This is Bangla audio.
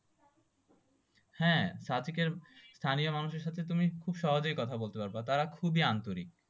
হ্যাঁ সাদেকের স্থানীয় মানুষের সাথে তুমি খুব সহজেই কথা বলতে পারবা তারা খুবই আন্তরিক